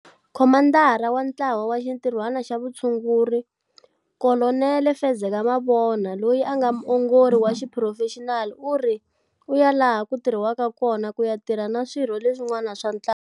Khomandara wa Ntlawa wa Xintirhwana xa Vutshunguri Kolonele Fezeka Mabona, loyi a nga muongori wa xiphurofexinali, u ri u ya laha ku tirhiwaka kona ku ya tirha na swirho leswin'wana swa ntlawa.